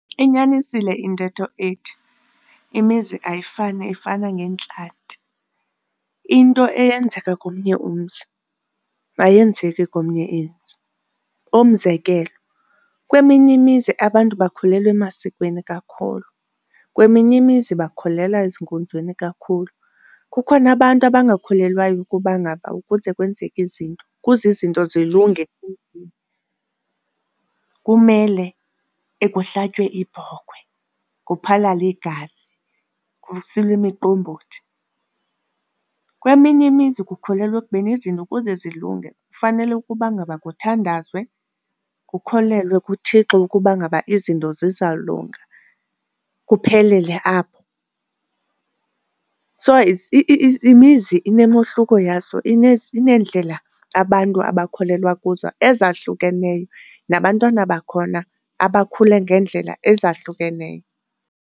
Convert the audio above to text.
Inyanisile intetho ethi imizi ayifani ifana ngeentlanti. Into eyenzeka komnye umzi ayenzeki komnye umzi. Umzekelo, kweminye imizi abantu bakholelwa emasikweni kakhulu, kweminye imizi bakholelwa ezinkonzweni kakhulu. Kukho abantu abangakholelwayo ukuba ngaba ukuze kwenzeka izinto ukuze izinto zilunge kumele kuhlatywe ibhokhwe, kuphalale igazi, kusilwe imiqombothi. Kweminye imizi kukholelwa ekubeni izinto ukuze zilunge kufanele ukuba ngaba kuthandazwe kukholelwe kuThixo ukuba ngaba izinto zizawulunga kuphelele apho. So imizi inomohluko yazo, ineendlela abantu abakholelwa kuzo ezahlukeneyo, nabantwana bakhona abakhule ngeendlela ezahlukeneyo.